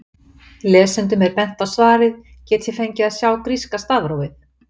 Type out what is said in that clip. Lesendum er bent á svarið Get ég fengið að sjá gríska stafrófið?